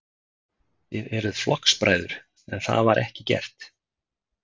Þið eruð flokksbræður, en það var ekki gert?